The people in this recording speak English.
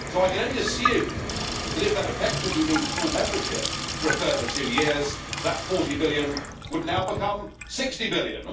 I can only assume that, if that effectively means full membership for a further two years, that EUR 40 billion would now become EUR 60 billion.